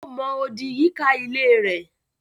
Ó mọ odì yíká ilée rẹ̀.